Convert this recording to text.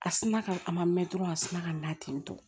A sina ka a ma mɛn dɔrɔn a sina ka na ten tɔ